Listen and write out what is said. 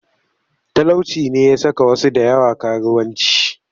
Talauci ne ya saka wasu da yawa karuwanci